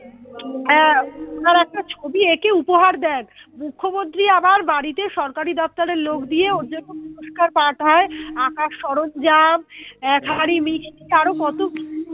আহ তার একটা ছবি একে উপহার দেন। মুখ্যমন্ত্রী আবার বাড়িতে সরকারি দপ্তরের লোক দিয়ে ওর জন্য পুরস্কার পাঠায় আঁকার সরঞ্জাম এক হাঁড়ি মিষ্টি আরো কত কি